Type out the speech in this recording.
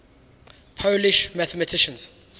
polish mathematicians